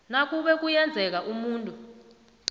nakube kuyenzeka umuntu